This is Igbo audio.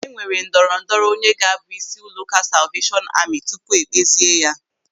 E nwere ndọrọ ndọrọ onye ga-abụ isi ụlọụka Salveeshọn Amị tupu ékpèzie ya.